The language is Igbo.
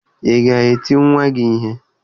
Ị ga-eti nwa gị ihe?